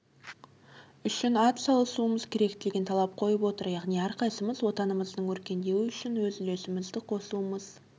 үшін атсалысуымыз керек деген талап қойып отыр яғни әрқайсымыз отанымыздың өркендеуі үшін өз үлесімізді қосуымыз